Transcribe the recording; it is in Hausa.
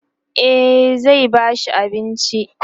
e zai ba shi abinci